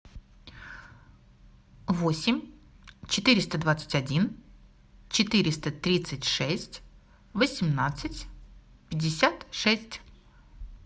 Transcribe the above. восемь четыреста двадцать один четыреста тридцать шесть восемнадцать пятьдесят шесть